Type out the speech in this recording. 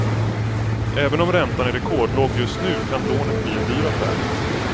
Även om räntan är rekordlåg just nu kan lånet bli en dyr affär.